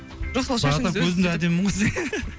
жоқ сол шашыңыз а так өзім де әдемімін ғой десең